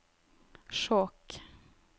Skjåk